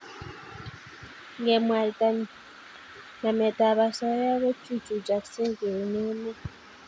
Ngemwaita nametab osoya kochuchukoksei eng emet